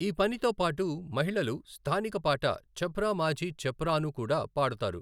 ఈ పనితో పాటు మహిళలు స్థానిక పాట ఛప్ రా మాఝీ ఛప్ రా ను కూడా పాడుతారు.